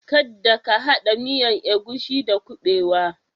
Kadda ka hada miyan agushi da kubewa.